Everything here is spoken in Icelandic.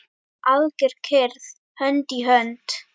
Alger kyrrð, hönd í hönd.